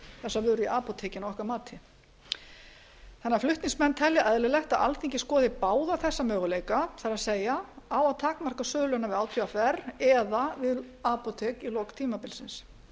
þessa vöru í apótekin að okkar mati þannig að flutningsmenn telja eðlilegt að alþingi skoði báða þessa möguleika það er á að takmarka söluna við átvr eða við apótek í lok tímabilsins ef það